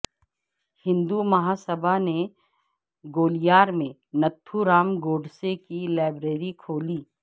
ہندو مہاسبھا نے گولیار میں ناتھو رام گوڈسے کی لائبریری کھولی